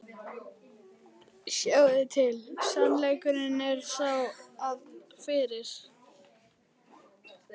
Sjáiði til, sannleikurinn er sá, að fyrir